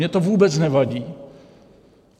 Mně to vůbec nevadí.